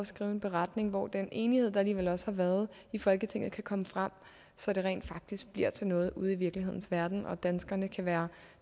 skrive en beretning hvor den enighed der alligevel også har været i folketinget kan komme frem så det rent faktisk bliver til noget ude i virkelighedens verden og danskerne kan være